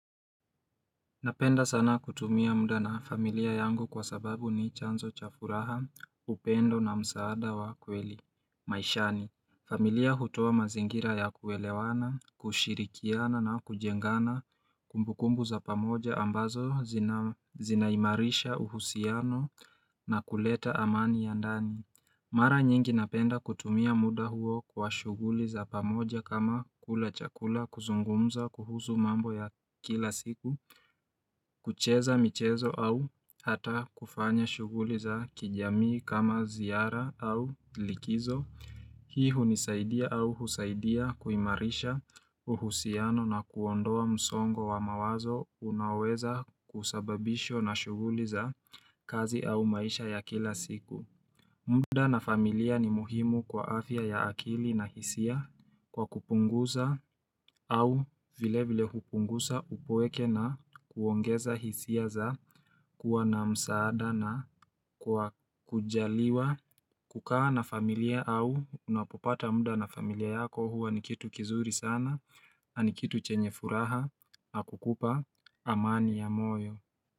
Napenda sana kutumia muda na familia yangu kwa sababu ni chanzo chafuraha upendo na msaada wa kweli maishani familia hutoa mazingira ya kuelewana kushirikiana na kujengana kumbukumbu za pamoja ambazo zinaimarisha uhusiano na kuleta amani ya ndani Mara nyingi napenda kutumia muda huo kwa shughuli za pamoja kama kula chakula kuzungumza kuhusu mambo ya kila siku kucheza michezo au hata kufanya shuguliza kijamii kama ziara au likizo Hii hunisaidia au husaidia kuimarisha uhusiano na kuondoa msongo wa mawazo unaweza kusababisho na shuguliza kazi au maisha ya kila siku muda na familia ni muhimu kwa afya ya akili na hisia kwa kupunguza au vile vile kupunguza upoeke na kuongeza hisia za kuwa na msaada na kwa kujaliwa kukaa na familia au unapopata munda na familia yako huwa nikitu kizuri sana nikitu chenye furaha na kukupa amani ya moyo.